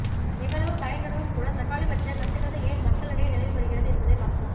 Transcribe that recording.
இவ்வளவு பயன் இருந்தும்கூட தக்காளி பற்றிய கட்டுக்கதை ஏன் மக்களிடையே நிலவி வருகிறது என்பதை பார்ப்போம்